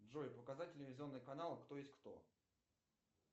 джой показать телевизионный канал кто есть кто